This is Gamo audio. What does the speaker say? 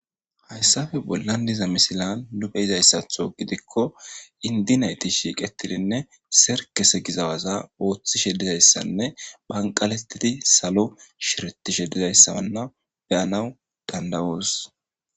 hayssafe bollan diza misilan nu beyizayssatho gidikko indi nayti shiiqetidinne serkese gizawaza ooththi she dizayssanne banqaletidi salo shirtishedizayssabanna beyanaw dandawoos